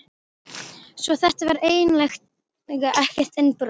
Svo þetta var eiginlega ekkert innbrot.